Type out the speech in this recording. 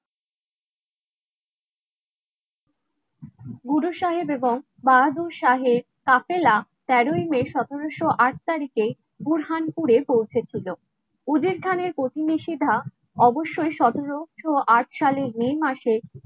গুরু সাহেব এবং বাহাদুর সাহেব, কাফেলা তেরোই মে সতেরোশো আট তারিখে বুরহানপুরে পৌঁছেছিল খানের প্রতিবেশি ধা অবশ্যই সতেরোশো আট সালের মে মাসে